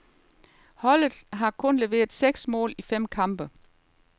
Holdet har kun leveret seks mål i fem kampe.